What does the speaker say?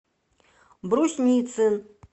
брусницын